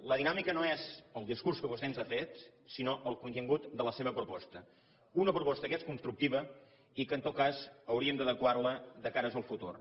la dinàmica no és el discurs que vostè ens ha fet sinó el contingut de la seva proposta una proposta que és constructiva i que en tot cas hauríem d’adequar la de cara al futur